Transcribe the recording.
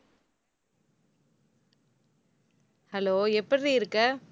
hello எப்படிடி இருக்க?